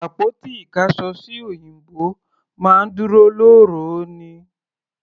Àpótí ìkáṣọsí òyìnbó máa ń dúró lóòró ni.